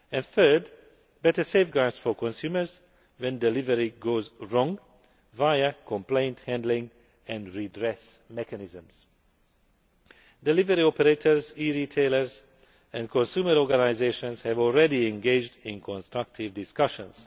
third, better safeguards for consumers when delivery goes wrong, via complaint handling and redress mechanisms Delivery operators, e retailers and consumer organisations have already engaged in constructive discussions.